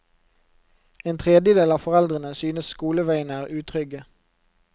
En tredjedel av foreldrene synes skoleveiene er utrygge.